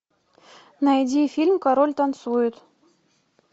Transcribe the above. найди фильм король танцует